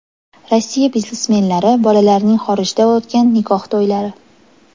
Rossiya biznesmenlari bolalarining xorijda o‘tgan nikoh to‘ylari .